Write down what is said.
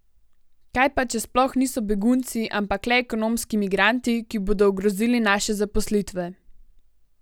Kaj pa, če sploh niso begunci, ampak le ekonomski migranti, ki bodo ogrozili naše zaposlitve?